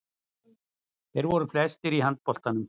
Þeir voru flestir í handboltanum.